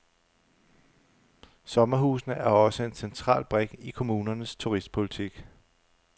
Sommerhusene er også en central brik i kommunernes turistpolitik.